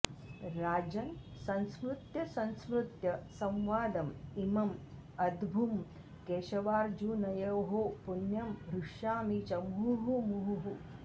राजन् संस्मृत्य संस्मृत्य संवादम् इमम् अद्भुम् केशवार्जुनयोः पुण्यं हृष्यामि च मुहुः मुहुः